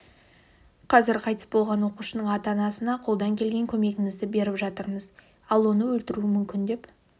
қазір қайтыс болған оқушының ата-анасына қолдан келген көмегімізіді беріп жатырмыз ал оны өлтіруі мүмкін деп